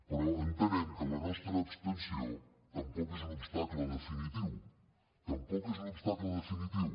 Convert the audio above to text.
però entenem que la nostra abstenció tampoc és un obstacle definitiu tampoc és un obstacle definitiu